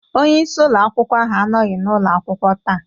Onye isi ụlọ akwụkwọ ahụ anọghị n'ụlọ akwụkwọ taa.